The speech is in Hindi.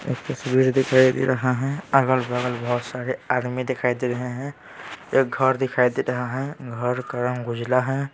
एक तस्वीर दिखाई दे रहा है अगल-बगल बहुत सारे आदमी दिखाई दे रहे हैं एक घर दिखाई दे रहा है घर का रंग उजला है।